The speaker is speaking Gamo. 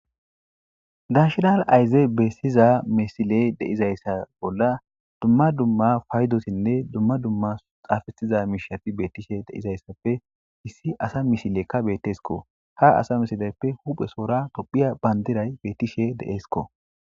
dashinal ayzey beessiza misiley deizayssa bolla dumma dumma faydosinne dumma dumma xaafaiza miishafi beettishe deizayssappe issi asa misilekka beetteesko ha asa misileyppe huphesoora tophiya bandiray beettishe deesko